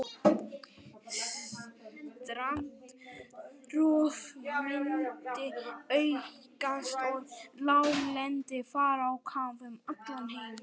Strandrof myndi aukast og láglendi fara á kaf um allan heim.